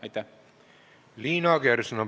Liina Kersna, palun!